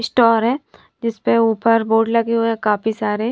Store है जिस पे ऊपर बोर्ड लगे हुए हैं काफी सारे।